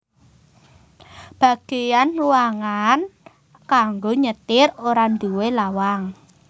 Bagéyan ruangan kanggo nyetir ora nduwé lawang